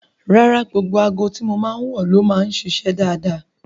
Rárá, gbogbo aago tí mo máa ń wọ̀ ló máa ń ṣiṣẹ́ dáadáa